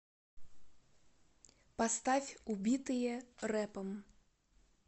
поставь убитые рэпом